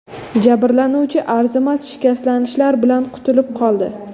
Jabrlanuvchi arzimas shikastlanishlar bilan qutulib qoldi.